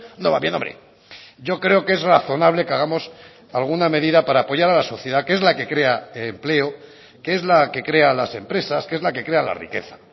no va bien hombre yo creo que es razonable que hagamos alguna medida para apoyar a la sociedad que es la que crea empleo que es la que crea las empresas que es la que crea la riqueza